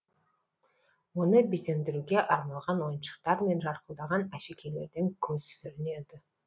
оны безендіруге арналған ойыншықтар мен жарқылдаған әшекейлерден көз сүрінеді